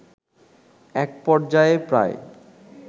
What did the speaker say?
একপর্যায়ে প্রায়